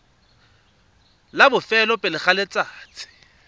la bofelo pele ga letsatsi